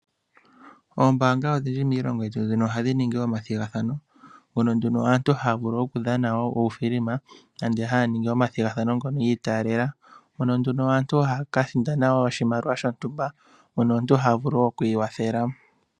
Oombaanga odhindji miilongo yetu mbino ohadhi ningi omathigathano. Mono nduno aantu haya vulu okudhana wo uufilima nande haya ningi omathigathano ngono yi itaalela. Mono nduno aantu haya ka sindana wo oshimaliwa shontumba, mono omuntu ha vulu wo oku ikwathela.